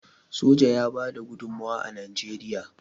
soja ya bada gudummawa a najeriya